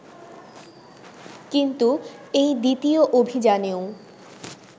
কিন্তু এই দ্বিতীয় অভিযানেও